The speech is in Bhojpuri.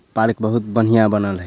पार्क बहुत बढ़िया बनल है।